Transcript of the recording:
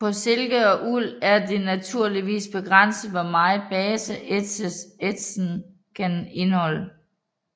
På silke og uld er det naturligvis begrænset hvor meget base ætsen kan indeholde